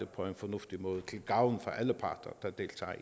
på en fornuftig måde til gavn for alle parter der deltager